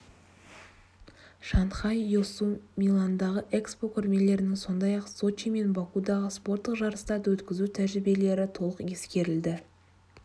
шанхай йосу миландағы экспо көрмелерінің сондай-ақ сочи мен бакудағы спорттық жарыстарды өткізу тәжірибелері толық ескерілді